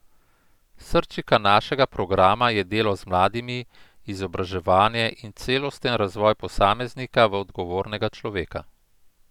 Srčika našega programa je delo z mladimi, izobraževanje in celosten razvoj posameznika v odgovornega človeka.